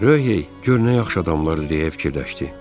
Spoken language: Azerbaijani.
Röh hey gör nə yaxşı adamlar irəliləyə fikirləşdi.